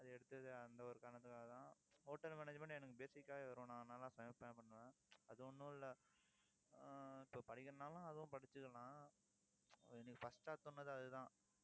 அது எடுத்தது, அந்த ஒரு காரணத்துக்காகத்தான் hotel management எனக்கு basic ஆ வரும் நான் நல்லா சமைப்பேன் அது ஒண்ணும் இல்லை ஆஹ் இப்போ படிக்கணும்னாலும், அதுவும் படிச்சுக்கலாம். so இன்னைக்கு first ஆ சொன்னது அதுதான்